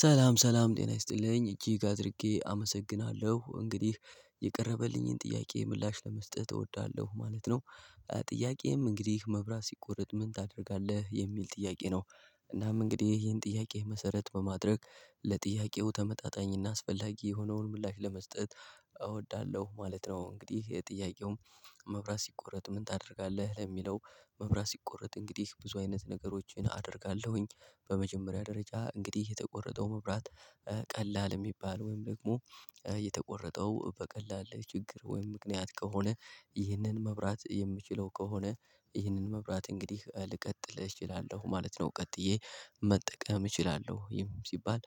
ሰላም ሰላም ጤና ይስጥልኝ እጅግ አድርጌ አመሰግናለሁ እንግዲህ የቀረበልኝን ጥያቄ ምላሽ ለመስጠት እወዳለሁ ማለት ነው። ጥያቄም እንግዲህ መብራት ሲቆረጥ ምን ታደርጋለህ የሚል ጥያቄ ነው? እናም እንግዲህ ይህን ጥያቄ መሰረት በማድረግ ለጥያቄው ተመጣጣኝና አስፈላጊ የሆነውን ምላሽ ለመስጠት እወዳለሁ ማለት ነው። እንግዲህ የጥያቄውም መብራት ሲቆረጥ ምን ታደርጋለህ ለሚለው መብራት ሲቆረጥ እንግዲህ ብዙ አይነት ነገሮችን አደርጋለሁኝ በመጀመሪያ ደረጃ እንግዲህ የተቆረጠው መብራት። ቀላል የሚባል ወይም ደግሞ የተቆረጠው በቀላል ችግር ወይም ምክንያት ከሆነ ይህንን መብራት የምችለው ከሆነ ይህንን መብራት እንግዲህ ልቀጥል እችላለሁ ማለት ነው። ቀጥዬ መጠቀም እችላለሁ ይህም ሲባል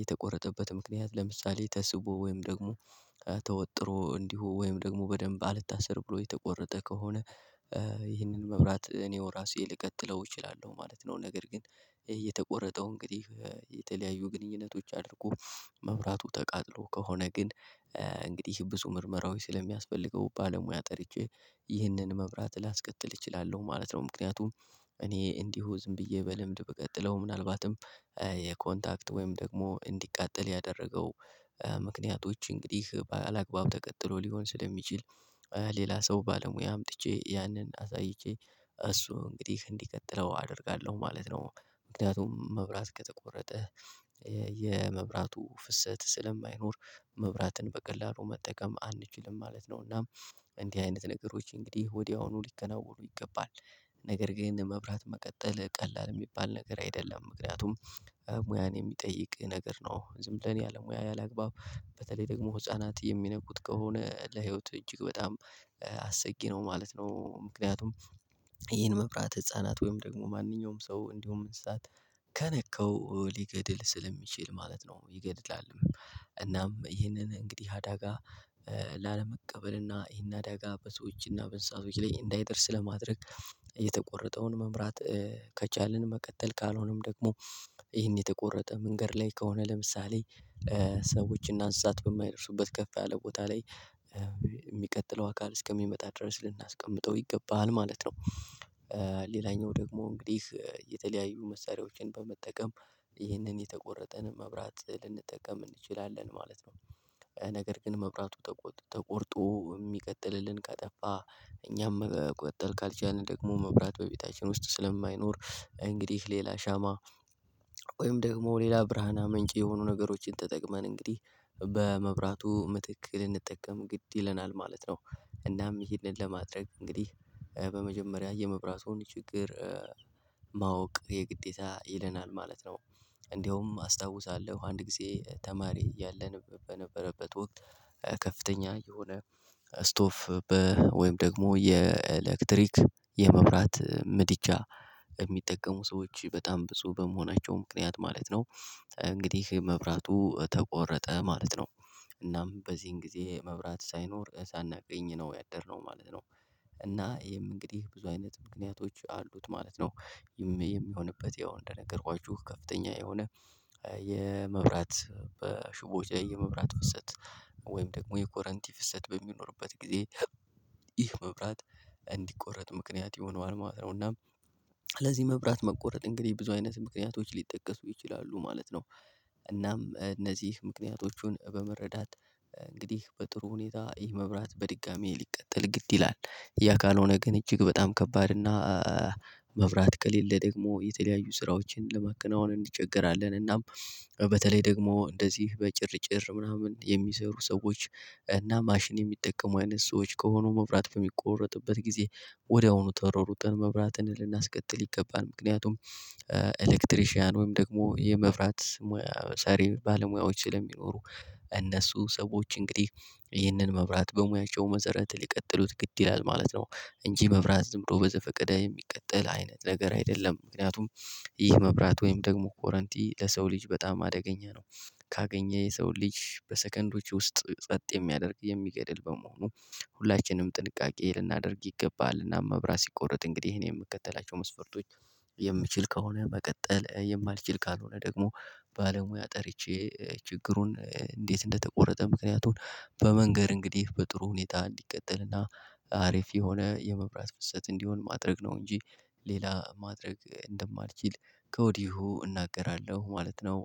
የተቆረጠበት ምክንያት ለምሳሌ ተስቦ ወይም ደግሞ ተወጥሮ እንዲሁ ወይም ደግሞ በደንብ አልታሰር ብሎ የተቆረጠ ከሆነ ይህንን መብራት እኔው ራሴ ልቀጥለው እችላለሁ ማለት ነው። ነገር ግን እየተቆረጠው እንግዲህ የተለያዩ ግንኙነቶች አድርጎ መብራቱ ተቃጥሎ ከሆነ ግን እንግዲህ ብዙ ምርመራዎች ስለሚያስፈልገው ባለሙያ ጠርቼ ይህንን መብራት ላስቀጥል እችላለሁ ማለት ነው። ምክንያቱም እኔ እንዲሁ ዝም ብዬ በልምድ ብቀጥለው ምናልባትም የኮንታክት ወይም ደግሞ እንዲቃጠል ያደረገው ምክንያቶች እንግዲህ ባለአግባቡ ተቀጥሎ ሊሆን ስለሚችል ሌላ ሰው ባለሙያ አምጥቼ ያንን አሳይቼ እሱ እንግዲህ እንዲቀጥለው አደርጋለሁ ማለት ነው። ምክንያቱም መብራት ከተቆረጠ የመብራቱ ፍሰት ስለማይኖር መብራትን በቀላሉ መጠቀም አንችልም ማለት ነውና። እንዲህ አይነት ነገሮች እንግዲህ ወዲያውኑ ሊከናወኑ ይገባል። ነገር ግን መብራት መቀጠል ቀላል የሚባል ነገር አይደለም ምክንያቱም ሙያን የሚጠይቅ ነገር ነው። ዝም ብለን ያለሙያ ያለምግባብ በተለይ ደግሞ ህፃናት የሚነኩት ከሆነ ለህይወት እጅግ በጣም አሰጊ ነው ማለት ነው። ምክንያቱም ይህን መብራት ህፃናት ወይም ደግሞ ማንኛውም ሰው እንዲሁም እንስሳት ከነካው ሊገድል ስለሚችል ማለት ነው ይገድላል። እናም ይህንን እንግዲህ አዳጋ ላለመቀበል እና ይህን አዳጋ በሰዎች እና በእንስሳቶች ላይ እንዳይደርስ ለማድረግ የተቆረጠውን መምራት። ከቻልን መቀጠል ካልሆነም ደግሞ ይሄን የተቆረጠ መንገድ ላይ ከሆነ ለምሳሌ ሰዎች እና እንስሳት በማይደርሱበት ከፍ ያለ ቦታ ላይ የሚቀጥለው አካል እስከሚመጣ ድረስ ልናስቀምጠው ይገባሃል ማለት ነው። ሌላኛው ደግሞ እንግዲህ የተለያዩ መሳሪያዎችን በመጠቀም ይህንን የተቆረጠን መብራት ልንጠቀም እንችላለን ማለት ነው። ነገር ግን መብራቱ ተቆርጦ የሚቀጥልልን ከጠፋ እኛም ቆርጠን ካልቻልን ደግሞ መብራት በቤታችን ውስጥ ስለማይኖር እንግዲህ ሌላ ሻማ። ወይም ደግሞ ሌላ ብርሃን አመንጭ የሆኑ ነገሮችን ተጠቅመን እንግዲህ በመብራቱ ምትክ ልንጠቀም ግድ ይለናል ማለት ነው። እናም ይሄንን ለማድረግ እንግዲህ በመጀመሪያ የመብራቱን ችግር ማወቅ የግዴታ ይለናል ማለት ነው። እንደውም አስታውሳለሁ አንድ ጊዜ ተማሪ ያለን በነበረበት ወቅት ከፍተኛ የሆነ ስቶፍ ወይም ደግሞ የኤሌክትሪክ የመብራት ምድጃ የሚጠቀሙ ሰዎች በጣም ብዙ በመሆናቸው ምክንያት ማለት ነው። እንግዲህ መብራቱ ተቆረጠ ማለት ነው። እናም በዚህን ጊዜ መብራት ሳይኖር ሳናቅኝ ነው ያደርነው ማለት ነው። እና ይሄም እንግዲህ ብዙ አይነት ምክንያቶች አሉት ማለት ነው። የሚሆንበት ያው እንደነገርኳችሁ ከፍተኛ የሆነ የመብራት በሹቦ የመብራት ፍሰት ወይም ደግሞ የኮረንቲ ፍሰት በሚኖርበት ጊዜ ይህ መብራት እንዲቆረጥ ምክንያት ይሆነዋል ማለት ነው። እና ስለዚህ መብራት መቆረጥ እንግዲህ ብዙ አይነት ምክንያቶች ሊጠቀሱ ይችላሉ ማለት ነው። እናም እነዚህ ምክንያቶቹን በመረዳት እንግዲህ በጥሩ ሁኔታ ይህ መብራት በድጋሚ ሊቀጠል ግድ ይላል። ያ ካልሆነ ግን እጅግ በጣም ከባድ እና መብራት ከሌለ ደግሞ የተለያዩ ስራዎችን ለማቀናወን እንቸገራለን እናም። በተለይ ደግሞ እንደዚህ በጭርጭር ምናምን የሚሰሩ ሰዎች እና ማሽን የሚጠቀሙ አይነት ሰዎች ከሆኑ መብራት በሚቆረጥበት ጊዜ ወዲያውኑ ተራሩጠን መብራትን ልናስቀጥል ይገባን ምክንያቱም። ኤሌክትሪሺያን ወይም ደግሞ ሰሪ ሙያ ሰሪ ባለሙያዎች ስለሚኖሩ እነሱ ሰዎች እንግዲህ ይህንን መብራት በሙያቸው መሰረት ሊቀጥሉት ግድ ይላል ማለት ነው። እንጂ መብራት ዝም ብሎ በዘፈቀደ የሚቀጠል አይነት ነገር አይደለም ምክንያቱም ይህ መብራት ወይም ደግሞ ኮረንቲ ለሰው ልጅ በጣም አደገኛ ነው። ካገኘ የሰው ልጅ በሰከንዶች ውስጥ ጸጥ የሚያደርግ የሚገድል በመሆኑ ሁላችንም ጥንቃቄ ልናደርግ ይገባል። እና መብራት ሲቆረጥ እንግዲህ ይሄን የምከተላቸው መስፈርቶች። የምችል ከሆነ መቀጠል የማልችል ካልሆነ ደግሞ ባለሙያ ጠርቼ ችግሩን እንዴት እንደተቆረጠ ምክንያቱን በመንገር እንግዲህ በጥሩ ሁኔታ እንዲቀጥልና አሪፍ የሆነ የመብራት ፍሰት እንዲሆን ማድረግ ነው። እንጂ ሌላ ማድረግ እንደማልችል ከወዲሁ እናገራለሁ ማለት ነው